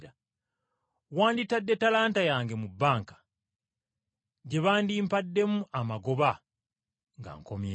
wanditadde ensimbi zange mu bbanka gye bandimpaddemu amagoba nga nkomyewo.’